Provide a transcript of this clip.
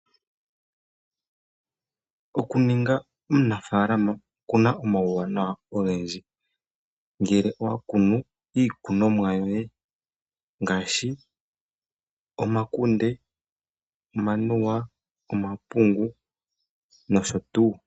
Okuninga omunafaalama okuna omauwanawa ogendji. Ngele owa kunu iikunomwa yoye ngaashi omakunde , omanuwa, omapungu noshotuu.